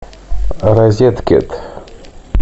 розеткед